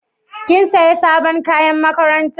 Kin sayi sabon kayan makaranta?